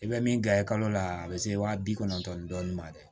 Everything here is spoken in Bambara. I bɛ min gilan i kalo la a bi se waa bi kɔnɔntɔn dɔɔnin ma dɛ